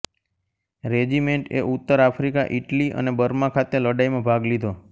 રેજિમેન્ટએ ઉત્તર Africa Italy અને Burma ખાતે લડાઈમાં ભાગ લીધો